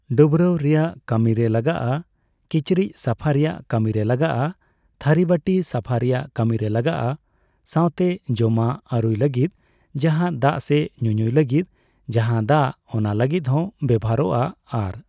ᱰᱟᱹᱵᱽᱨᱟᱹᱭ ᱨᱮᱭᱟᱜ ᱠᱟᱹᱢᱤᱨᱮ ᱞᱟᱜᱟᱜᱼᱟ ᱾ᱠᱤᱪᱨᱤᱡ ᱥᱟᱯᱷᱟ ᱨᱮᱭᱟᱜ ᱠᱟᱹᱢᱤᱨᱮ ᱞᱟᱜᱟᱜᱼᱟ, ᱛᱷᱟᱹᱨᱤ ᱵᱟᱹᱴᱤ ᱥᱟᱯᱷᱟ ᱨᱮᱭᱟᱜ ᱠᱟᱹᱢᱤᱨᱮ ᱞᱟᱜᱟᱜᱼᱟ ᱥᱟᱣᱛᱮ ᱡᱚᱢᱟᱜ ᱟᱨᱩᱭ ᱞᱟᱹᱜᱤᱫ ᱡᱟᱦᱟᱸ ᱫᱟᱜ ᱥᱮ ᱧᱩᱧᱩᱭ ᱞᱟᱹᱜᱤᱫ ᱡᱟᱦᱟᱸ ᱫᱟᱜ, ᱚᱱᱟ ᱞᱟᱹᱜᱤᱫ ᱦᱚᱸ ᱵᱮᱵᱚᱦᱟᱨᱚᱜᱼᱟ ᱾ ᱟᱨ